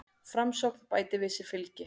Framsókn bætir við sig fylgi